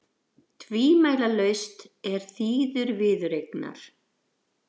Tvímælalaust er þýður viðureignar